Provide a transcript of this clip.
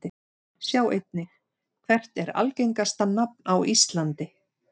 Sjá einnig: Hvert er algengasta nafn á íslandi?